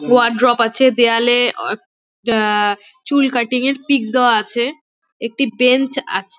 Wardrobe আছে দেয়ালে চুল কার্টিং এর পিক দেয়া আছে একটি ব্রেঞ্চ দেয়া আছে।